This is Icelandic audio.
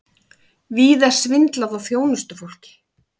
Víða svindlað á þjónustufólki